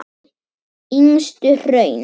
Yngstu hraun